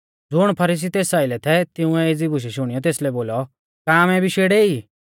ज़ुण फरीसी तेस आइलै थै तिंउऐ एज़ी बुशै शुणियौ तेसलै बोलौ का आमै भी शेड़ै ई